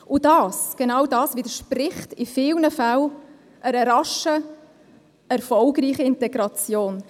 Und das, genau das widerspricht in vielen Fällen einer raschen erfolgreichen Integration.